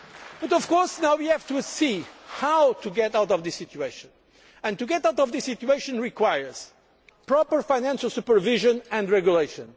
today. But now of course we have to see how to get out of this situation, and to get out of this situation requires proper financial supervision and regulation.